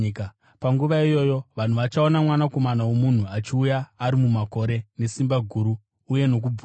“Panguva iyoyo vanhu vachaona Mwanakomana woMunhu achiuya ari mumakore nesimba guru uye nokubwinya.